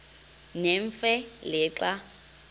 nemfe le xa